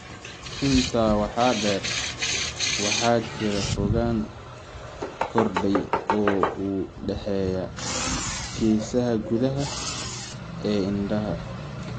Intaa waxaa dheer, waxaa jira fogaan kordhay oo u dhexeeya geesaha gudaha ee indhaha (telecanthska).